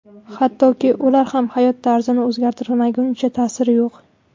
Hattoki ular ham hayot tarzini o‘zgartirmaguncha ta’siri yo‘q.